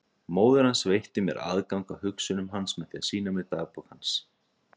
Móðir hans veitti mér aðgang að hugsunum hans með því að sýna mér dagbókina hans.